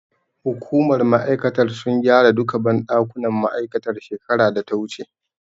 Hukumar ma'aikatar sun gyara duka banɗakunan ma'aikatar shekarar data wuce